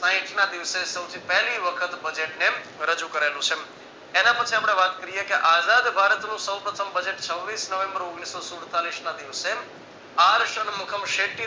સાહીઠ ના દિવસે સૌથી પેહલી વખત budget રજુ કરેલુ છે. એના પરથી આપણે વાત કરીએ કે આઝાદ ભારત નું સૌ પ્રથમ budget છવ્વીસ નવેમ્બર ઓગણીસો સુડતાલીશના દિવસે